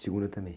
Segunda também?